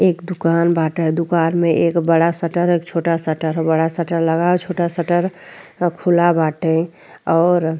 एक दुकान बाटे। दुकान मे एक बड़ा शटर एक छोटा शटर बड़ा शटर लगा है। छोटा शटर खुला बाटे और --